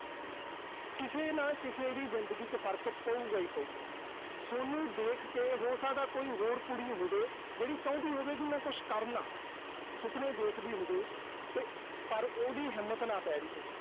ਕਿਸੇ ਨਾ ਕਿਸੇ ਦੀ ਜ਼ਿੰਦਗੀ ਚ ਫਰਕ ਪਊਗਾ ਹੀ ਪਊਗਾ। ਸੋਨੂੰ ਦੇਖ ਕੇ ਹੋ ਸਕਦਾ ਕੋਈ ਹੋਰ ਕੁੜੀ ਹੋਵੇ, ਜਿਹੜੀ ਚਾਹੁੰਦੀ ਹੋਵੇ ਕਿ ਮੈਂ ਕੁਸ਼ ਕਰਲਾਂ। ਸੁਪਨੇ ਦੇਖਦੀ ਹੋਵੇ ਤੇ ਪਰ ਉਹਦੀ ਹਿੰਮਤ ਨਾ ਪੈ ਰਹੀ ਹੋਵੇ।